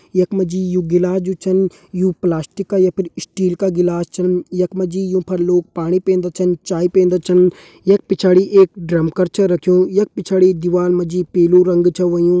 यख मा जी यू गिलास जू छन यू प्लास्टिक का यख पर स्टील का गिलास छन यख मा जी यू पर लोग पानी पींदा छन चाय पींदा छन यख पिछाड़ी एक ड्रम कर छ रखयूं यख पिछाड़ी दीवार मा जी पीलू रंग छ हुयों|